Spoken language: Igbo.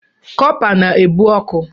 Kọpa na-ebu ọkụ.